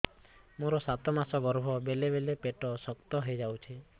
ମୋର ସାତ ମାସ ଗର୍ଭ ବେଳେ ବେଳେ ପେଟ ଶକ୍ତ ହେଇଯାଉଛି